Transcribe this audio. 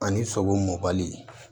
Ani sogo mɔbali